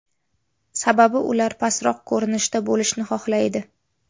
Sababi ular pastroq ko‘rinishda bo‘lishni xohlaydi.